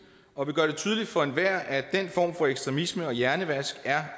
og vi gør det tydeligt for enhver at den form for ekstremisme og hjernevask er